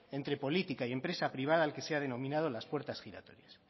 entre política y empresa privada al que se ha denominado las puertas giratorias